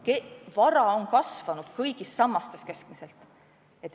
Keskmiselt võttes on vara kasvanud kõigis sammastes.